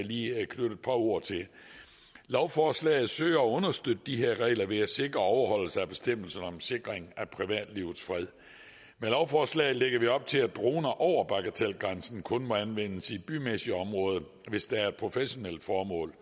lige knytte et par ord til lovforslaget søger at understøtte de her regler ved at sikre overholdelse af bestemmelserne om sikring af privatlivets fred med lovforslaget lægger vi op til at droner over bagatelgrænsen kun må anvendes i bymæssige områder hvis der er professionelle formål